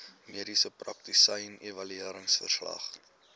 mediese praktisyn evalueringsverslag